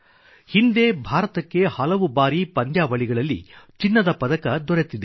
ಹಿಂದೆ ಭಾರತಕ್ಕೆ ಹಲವು ಬಾರಿ ಪಂದ್ಯಾವಳಿಗಳಲ್ಲಿ ಚಿನ್ನದ ಪದಕ ದೊರೆತಿದೆ